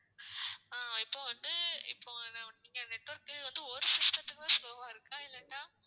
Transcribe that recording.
ஆஹ் இப்போ வந்து இப்போ நீங்க network உ வந்து ஒரு system த்துக்கு தான் slow வா இருக்கா இல்லாட்டா,